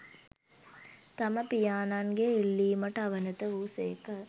තම පියාණන්ගේ ඉල්ලීමට අවනත වූ සේක